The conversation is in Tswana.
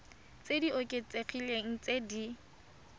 tse di oketsegileng tse di